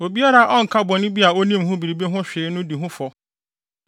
“ ‘Obiara a ɔnka bɔne bi a onim ho biribi ho hwee no di ho fɔ.